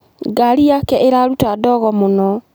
Ngari yake ĩraruta ndogo mũno.